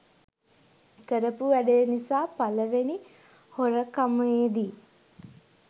කරපු වැඩේ නිසා පළවෙනි හොරකමේදි